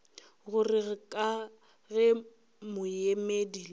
gore ka ge moemedi le